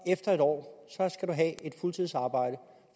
efter en år have et fuldtidsarbejde